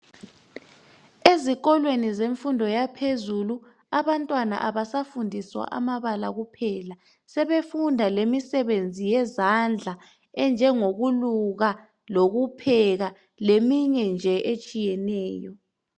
Ezikolweni zemfundo yaphezulu abantwana abasafundiswa amabala kuphela. Sebefunda lemisebenzi yezandla enjengokweluka, lokupheka leminye nje etshiyeneyo.